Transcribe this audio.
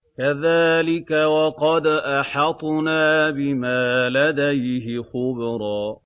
كَذَٰلِكَ وَقَدْ أَحَطْنَا بِمَا لَدَيْهِ خُبْرًا